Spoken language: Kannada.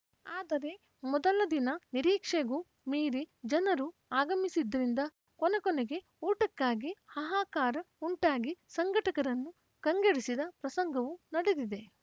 ಆದರೆ ಮೊದಲ ದಿನ ನಿರೀಕ್ಷೆಗೂ ಮೀರಿ ಜನರು ಆಗಮಿಸಿದ್ದರಿಂದ ಕೊನೆಕೊನೆಗೆ ಊಟಕ್ಕಾಗಿ ಹಾಹಾಕಾರ ಉಂಟಾಗಿ ಸಂಘಟಕರನ್ನು ಕಂಗೆಡಿಸಿದ ಪ್ರಸಂಗವೂ ನಡೆದಿದೆ